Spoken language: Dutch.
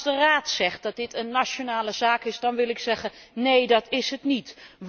De Raad zegt dat dit een nationale zaak is, maar ik zeg Neen, dat is het niet.